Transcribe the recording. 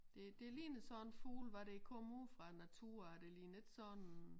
Det det ligner sådan en fugl hvor den kommer ude fra æ natur det ligner ikke sådan